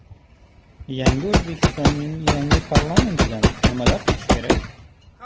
Yangi O‘zbekistonning yangi parlamentidan nimalar kutish kerak?